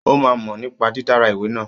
Ó máa ń mọ̀ nípa dídára ìwé náà.